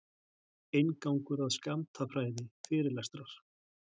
Inngangur að skammtafræði, fyrirlestrar.